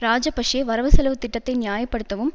இராஜபக்ஷ வரவுசெலவு திட்டத்தை நியாய படுத்தவும்